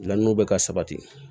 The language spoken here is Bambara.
Lanw bɛ ka sabati